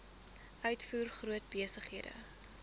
uitvoer groot besighede